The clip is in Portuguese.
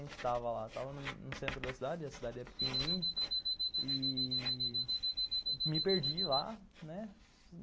A gente estava lá no centro da cidade, a cidade é pequenininha, e... me perdi lá, né.